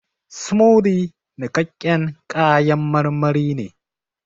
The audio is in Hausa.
Smoothie nikaƙƙen kayan marmari ne